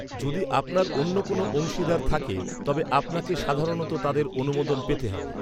যদি আপনার অন্য কোনও অংশীদার থাকে, তবে আপনাকে সাধারণত তাদের অনুমোদন পেতে হবে।